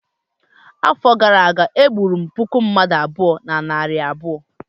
afọ gara aga, m gburu puku mmadu abụọ na narị abụọ